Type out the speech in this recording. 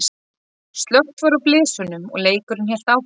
Slökkt var á blysunum og leikurinn hélt áfram.